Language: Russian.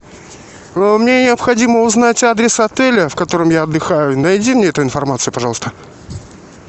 мне необходимо узнать адрес отеля в котором я отдыхаю найди мне эту информацию пожалуйста